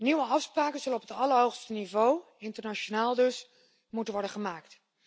Nieuwe afspraken zullen op het allerhoogste niveau, internationaal dus, moeten worden gemaakt.